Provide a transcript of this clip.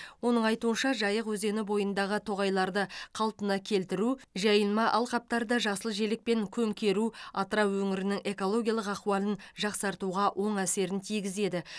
оның айтуынша жайық өзені бойындағы тоғайларды қалпына келтіру жайылма алқаптарды жасыл желекпен көмкеру атырау өңірінің экологиялық ахуалын жақсартуға оң әсерін тигізеді